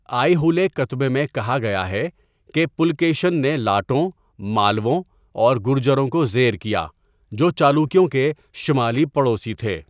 آئیہولے کتبے میں کہا گیا ہے کہ پُلکیشن نے لاٹوں، مالَووں اور گُرجروں کو زیر کیا، جو چالوکیوں کے شمالی پڑوسی تھے۔